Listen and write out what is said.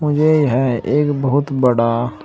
यह है एक बहुत बड़ा--